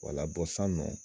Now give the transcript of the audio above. sisannɔ.